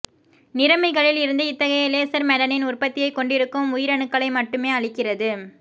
நிறமிகளில் இருந்து இத்தகைய laser melanin உற்பத்தியைக் கொண்டிருக்கும் உயிரணுக்களை மட்டுமே அழிக்கிறது